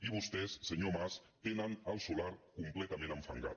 i vostès senyor mas tenen el solar com·pletament enfangat